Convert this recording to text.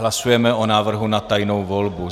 Hlasujeme o návrhu na tajnou volbu.